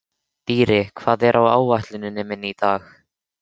Dýri, hvað er á áætluninni minni í dag?